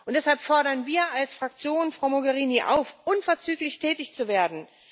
Deshalb fordern wir als Fraktion Frau Mogherini auf, unverzüglich tätig zu werden.